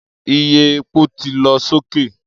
Iye epo ti lọ soke